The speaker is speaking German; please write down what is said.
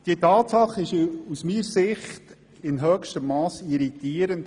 Diese Tatsache ist aus meiner Sicht in höchstem Masse irritierend;